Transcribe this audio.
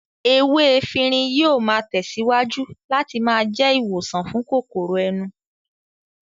Ewé efinrin yóò máa tẹ̀síwájú láti máa jẹ́ ìwòsàn fún kòkòrò ẹnu